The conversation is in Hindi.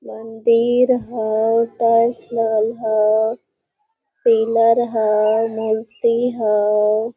मंदिर हाओ ताजमहल हाओ पिलर हाओ मूर्ति हाओ ।